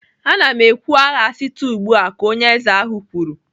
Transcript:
"Ana m ekwu agha site ugbu a!" Ka onye eze ahụ kwuru